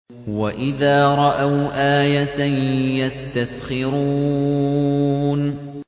وَإِذَا رَأَوْا آيَةً يَسْتَسْخِرُونَ